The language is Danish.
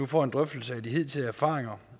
får en drøftelse af de hidtidige erfaringer